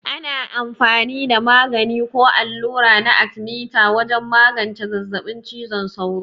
Ana amfani da magani ko allura na arthemeter wajen magance zazzabin cizon sauro.